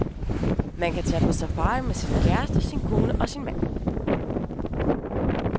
Man kan tage på safari med sin, kæreste sin kone og sin mand.